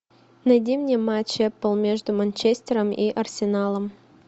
найди мне матч апл между манчестером и арсеналом